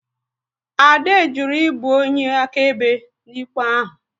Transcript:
Ade jụrụ ibu onye akaebe n'ikpe ahụ